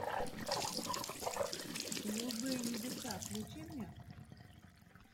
голубые небеса включи мне